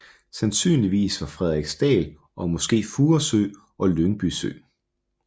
Sandsynligvis ved Frederiksdal og måske Furesø og Lyngby sø